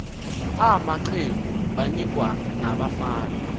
amaqegu banikwa nabafana